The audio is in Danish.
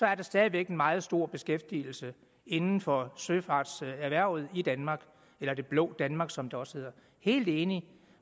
er der stadig væk en meget stor beskæftigelse inden for søfartserhvervet i danmark eller det blå danmark som det også hedder helt enig